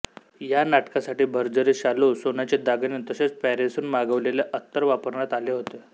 या नाटकासाठी भरजरी शालू सोन्याचे दागिने तसेच पॅरिसहून मागवलेले अत्तर वापरण्यात आले होते